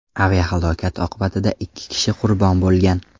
Aviahalokat oqibatida ikki kishi qurbon bo‘lgan.